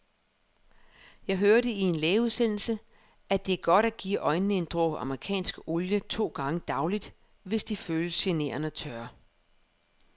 Jeg hørte i en lægeudsendelse, at det er godt at give øjnene en dråbe amerikansk olie to gange daglig, hvis de føles generende tørre.